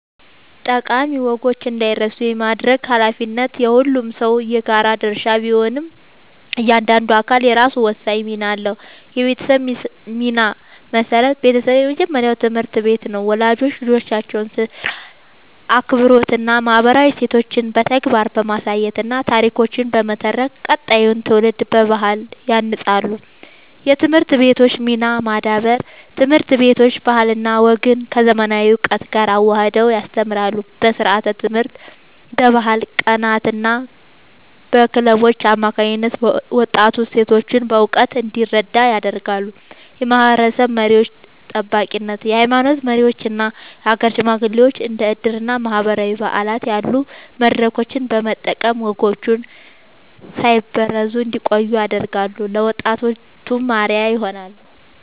ጠቃሚ ወጎች እንዳይረሱ የማድረግ ኃላፊነት የሁሉም ሰው የጋራ ድርሻ ቢሆንም፣ እያንዳንዱ አካል የራሱ ወሳኝ ሚና አለው፦ የቤተሰብ ሚና (መሠረት)፦ ቤተሰብ የመጀመሪያው ትምህርት ቤት ነው። ወላጆች ልጆቻቸውን ሥርዓት፣ አክብሮትና ማህበራዊ እሴቶችን በተግባር በማሳየትና ታሪኮችን በመተረክ ቀጣዩን ትውልድ በባህል ያንጻሉ። የትምህርት ቤቶች ሚና (ማዳበር)፦ ትምህርት ቤቶች ባህልና ወግን ከዘመናዊ እውቀት ጋር አዋህደው ያስተምራሉ። በስርዓተ-ትምህርት፣ በባህል ቀናትና በክለቦች አማካኝነት ወጣቱ እሴቶቹን በእውቀት እንዲረዳ ያደርጋሉ። የማህበረሰብ መሪዎች (ጠባቂነት)፦ የሃይማኖት መሪዎችና የሀገር ሽማግሌዎች እንደ ዕድርና ማህበራዊ በዓላት ያሉ መድረኮችን በመጠቀም ወጎች ሳይበረዙ እንዲቆዩ ያደርጋሉ፤ ለወጣቱም አርአያ ይሆናሉ።